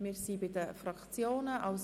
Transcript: Wir sind bei den Fraktionen angelangt.